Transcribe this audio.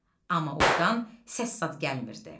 Amma ordan səssizad gəlmirdi.